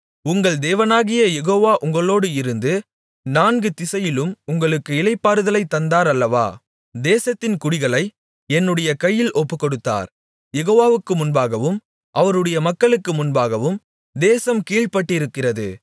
உங்கள் தேவனாகிய யெகோவா உங்களோடு இருந்து நான்கு திசையிலும் உங்களுக்கு இளைப்பாறுதலைத் தந்தார் அல்லவா தேசத்தின் குடிகளை என்னுடைய கையில் ஒப்புக்கொடுத்தார் யெகோவாவுக்கு முன்பாகவும் அவருடைய மக்களுக்கு முன்பாகவும் தேசம் கீழ்ப்பட்டிருக்கிறது